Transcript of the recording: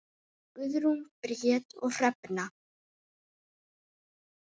Guðrún Bríet og Hrefna.